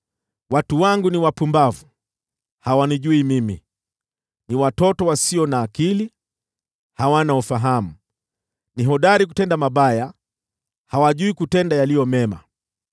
“Watu wangu ni wapumbavu, hawanijui mimi. Ni watoto wasio na akili, hawana ufahamu. Ni hodari kutenda mabaya, hawajui kutenda yaliyo mema.”